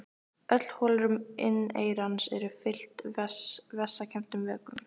Öll holrúm inneyrans eru fyllt vessakenndum vökvum.